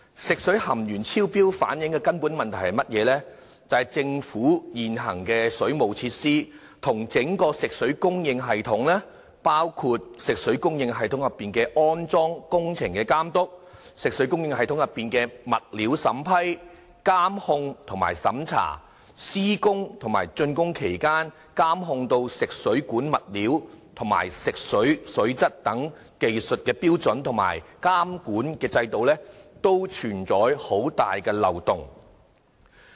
食水含鉛超標反映出的根本問題是，政府現行的水務設施與整體食水供應系統，包括食水供應系統內的安裝工程監督、食水供應內的物料審批、監控和審查、施工及竣工期間的監控食水管物料及食水水質等技術的標準和監管制度，均存在很大漏洞。